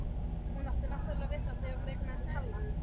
Hún átti náttúrlega við það þegar hún eignaðist Halla.